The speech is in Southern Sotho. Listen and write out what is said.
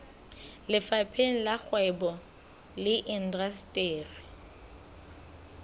lefapheng la kgwebo le indasteri